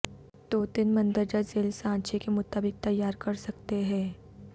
توتن مندرجہ ذیل سانچے کے مطابق تیار کرسکتے ہیں